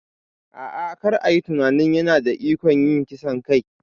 A'a, kar a yi tunanin yana da ikon yin kisan kai.